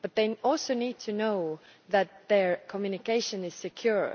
But they also need to know that their communication is secure.